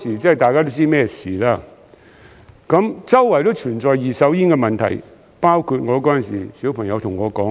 當時大家都知道是甚麼事，周圍都存在二手煙的問題，包括當時我的小朋友對我說那些。